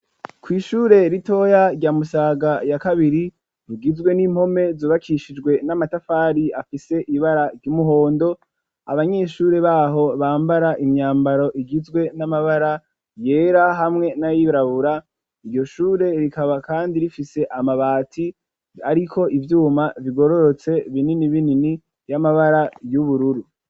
Kw'ishure ritoya rya musaga ya kabiri ,rugizwe n'impome zubakishijwe n'amatafari ,afise ibara ry'umuhondo ,abanyeshuri baho bambara imyambaro igizwe n'amabara yera, hamwe n'ayirabura ,iryo shure rikaba kandi rifise amabati ariko ivyuma bigororotse ,binini binini y'amabara y'ubururu.